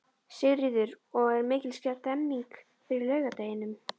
Sigríður: Og er mikil stemning fyrir laugardeginum?